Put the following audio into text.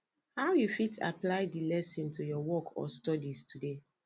how you fit apply di lesson to your work or studies today